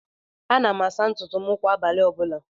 Ana m asa ntụtụ m kwá abalị ọbula.